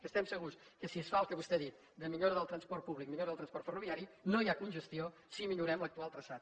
que estem segurs que si es fa el que vostè ha dit de millora del transport públic millora del transport ferroviari no hi ha congestió si millorem l’actual traçat